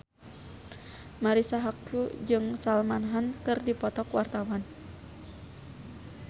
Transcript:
Marisa Haque jeung Salman Khan keur dipoto ku wartawan